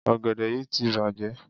Ọ̀gẹ̀dẹ̀ yí ti bàjẹ́.